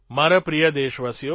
મારા પ્રિય દેશવાસીઓ